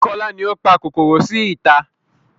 Kola ni ó pa kòkòrò sí ìta